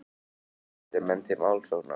Hvetja menn til málsókna